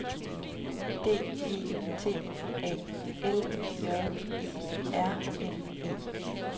D E T A L J E R N E